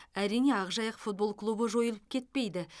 әрине ақжайық футбол клубы жойылып кетпейді